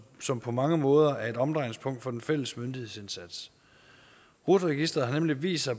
som på mange måder er et omdrejningspunkt for den fælles myndighedsindsats rut registeret har nemlig vist sig